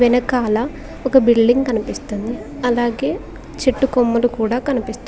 వెనకాల ఒక బిల్డింగ్ కనిపిస్తుంది అలాగే చెట్టుకొమ్మలు కూడా కనిపిస్తా--